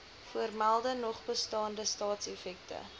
voormelde nogbestaande staatseffekte